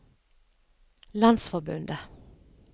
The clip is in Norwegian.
landsforbundet